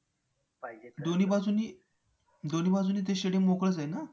दोन्ही बाजूंनी दोन्ही बाजूंनी ते stadium मोकळंच आहे ना